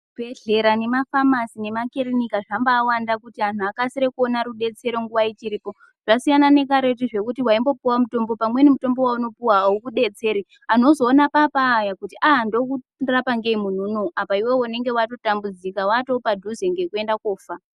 Zvibhedhlera, nemafamasi, nemakirinika, zvambaawanda kuti anhu akasire kuona rudetsero nguwa ichiripo. Zvasiyana nekaretu zvokuti waimbopuwa mitombo, pamweni mitombo wenopuwa aukudetseri. Anhu ozoona paapaaya kuti aaa ndomurapa ngeiyi muntu unowu, apa iwewe unenge watotambudzika wataapadhuze ngekuenda koofa.